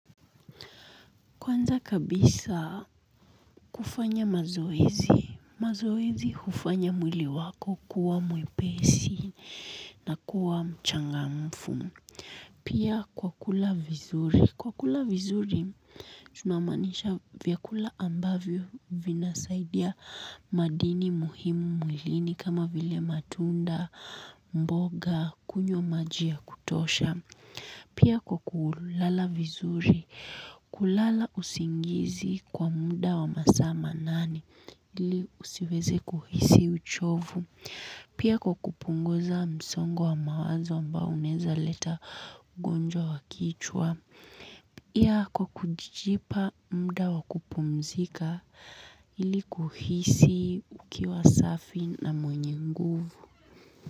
Kwanza kabisa kufanya mazoezi, mazoezi hufanya mwili wako kuwa mwepesi na kuwa mchangamfu. Pia kwa kula vizuri, kwa kula vizuri tunamaanisha vyakula ambavyo vinasaidia madini muhimu mwilini kama vile matunda, mboga, kunywa maji ya kutosha. Pia kwa kulala vizuri, kulala usingizi kwa muda wa masaa manane ili usiweze kuhisi uchovu. Pia kwa kupunguza msongo wa mawazo ambao unaweza leta ugonjwa wa kichwa. Pia kwa kujipa muda wa kupumzika ili kuhisi ukiwa safi na mwenye nguvu.